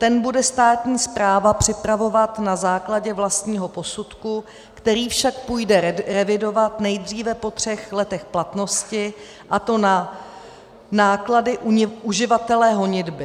Ten bude státní správa připravovat na základě vlastního posudku, který však půjde revidovat nejdříve po třech letech platnosti, a to na náklady uživatele honitby.